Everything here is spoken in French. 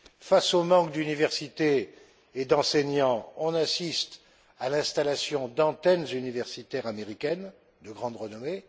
Face au manque d'universités et d'enseignants, on assiste à l'installation d'antennes universitaires américaines de grande renommée.